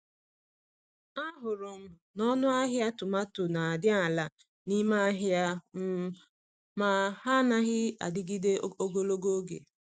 Ahụrụ m na ọnụ ahịa tomato n'adị ala n'ime ahịa, um ma ha anaghị adịgide ogologo oge.